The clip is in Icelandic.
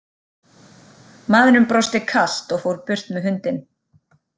Maðurinn brosti kalt og fór burt með hundinn.